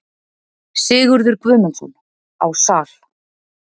Sigurður Guðmundsson: Á Sal.